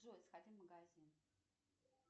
джой сходи в магазин